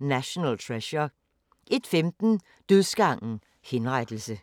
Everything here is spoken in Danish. National Treasure * 01:15: Dødsgangen - henrettelse